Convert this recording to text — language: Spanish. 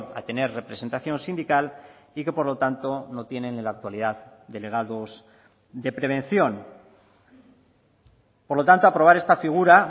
a tener representación sindical y que por lo tanto no tienen en la actualidad delegados de prevención por lo tanto aprobar esta figura